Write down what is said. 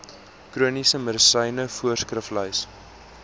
chroniese medisyne voorskriflys